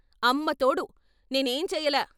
అమ్మతోడు, నేనేంచెయ్యలా.